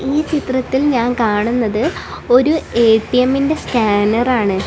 ഈ ചിത്രത്തിൽ ഞാൻ കാണുന്നത് ഒരു എ_ടി_എമ്മി ന്റെ സ്കാനർ ആണ്.